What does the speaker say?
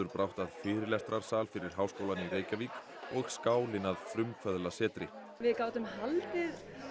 brátt að fyrirlestrarsal fyrir Háskólann í Reykjavík og skálinn að frumkvöðlasetri við gátum haldið